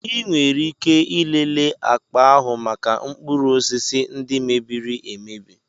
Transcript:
Ị nwere ike ịlele akpa ahụ maka mkpụrụ osisi ndị mebiri emebi.